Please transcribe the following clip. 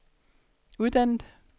uddannet